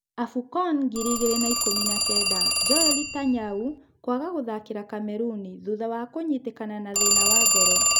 Abukon ngiri igĩrĩ na ikũmi na-kenda: Joeli Tanyau kũaga gũthakĩra Kameruni thutha wa kunyitĩka nathĩna wa ngoro.